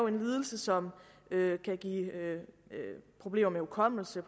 en lidelse som kan give problemer med hukommelse